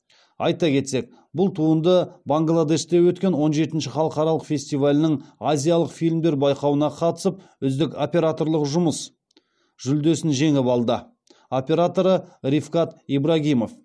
айта кетсек бұл туынды бангладеште өткен он жетінші халықаралық фестивалінің азиялық фильмдер байқауына қатысып үздік операторлық жұмыс жүлдесін жеңіп алды